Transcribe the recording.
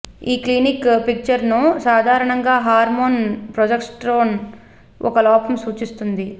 ఈ క్లినికల్ పిక్చర్ను సాధారణంగా హార్మోన్ ప్రొజెస్టెరాన్ ఒక లోపం సూచిస్తుంది